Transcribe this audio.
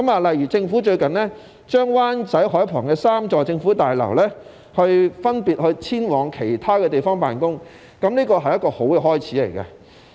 例如政府最近把設於灣仔海旁3座政府大樓的部門分別遷往其他地方辦工，這是一個好的開始。